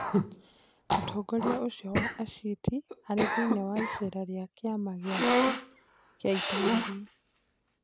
Mũtongoria ũcio wa aciti ari thiinĩ wa icera ria kĩama gĩake kia itũũra rĩu